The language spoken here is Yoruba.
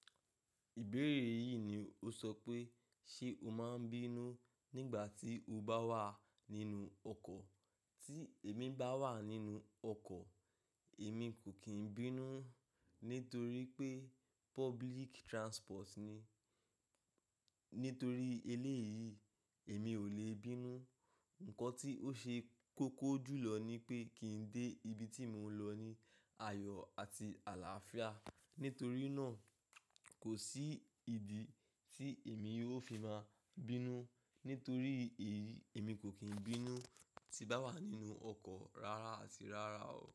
Ìbéèrè yìí ni o sọ pé, ṣe o máa ń bínú nígbà tí o bá wà nínú ọkọ̀? Tí èmi bá wà nínú ọkọ̀, èmi kò kí n bínú nítorí pé public transport ni. Nítorí eléyìí, èmi ò le bínú. Ǹkan tí ó ṣe kókó jùlọ ni pé kí ń dé ibi tí mò ń lọ ní ayọ̀ àti àlàáfíà. Nítorí náà, kò sí ìdí tí èmi ó fi máa bínú. Nítorí èyí, èmi kò kín bínú tí bá wà nínú ọkọ̀ rárá àti rárá o.